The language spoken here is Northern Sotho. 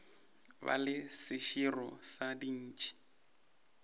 ba le seširo sa dintšhi